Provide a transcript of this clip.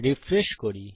refresh করি